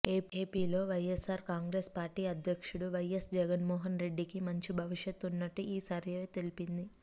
ఏపీలో YSR Congress party అధ్యక్షుడు YS Jaganmohan రెడ్డికి మంచి భవిష్యత్ ఉన్నట్టు ఈ సర్వే తెలిపింది